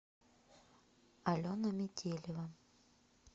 алена метелева